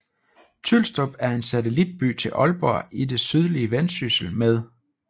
Tylstrup er en satellitby til Aalborg i det sydlige Vendsyssel med